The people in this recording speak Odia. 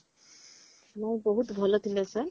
ହଁ ବହୁତ ଭଲ ଥିଲା sir